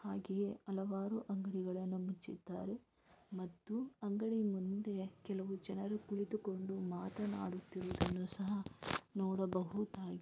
ಹಾಗೆಯೇ ಹಲವಾರು ಅಂಗಡಿಗಳನ್ನು ಮುಚ್ಚಿದ್ದಾರೆ ಮತ್ತು ಅಂಗಡಿಯ ಮುಂದೆ ಕೆಲವು ಜನರು ಕುಳಿತುಕೊಂಡು ಮಾತನಾಡುತ್ತಿರುವುದನ್ನು ಸಹ ನೋಡಬಹುದಾಗಿ--